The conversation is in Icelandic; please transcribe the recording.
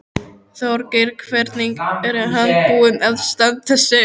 Þorgeir: Hvernig er hann búinn að standa sig?